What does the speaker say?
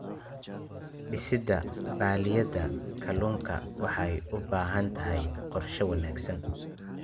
Dhisidda balliyada kalluunka waxay u baahan tahay qorshe wanaagsan.